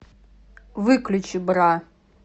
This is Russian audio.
выключи бра